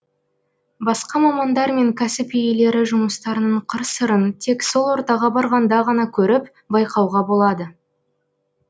басқа мамандар мен кәсіп иелері жұмыстарының қыр сырын тек сол ортаға барғанда ғана көріп байқауға болады